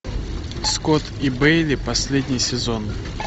скотт и бейли последний сезон